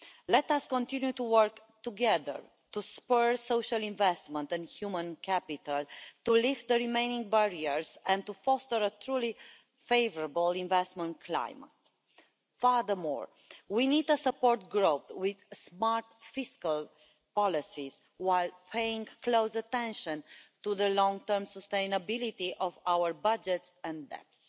Let us continue to work together to spur social investment and human capital, to lift the remaining barriers and to foster a truly favourable investment climate. Furthermore, we need to support growth with smart fiscal policies, while paying close attention to the long term sustainability of our budgets and debts.